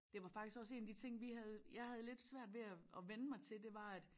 Det var faktisk også en af de ting vi havde jeg havde lidt svært ved at at vænne mig til det var at